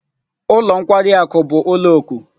Ụlọ nkwari akụ bụ ụlọ oku.